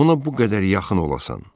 Ona bu qədər yaxın olasan.